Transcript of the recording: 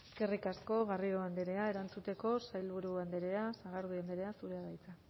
eskerrik asko garrido andrea erantzuteko sailburu andrea sagardui andrea zurea da hitza